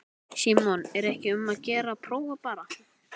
Símon: Er ekki um að gera að prófa bara?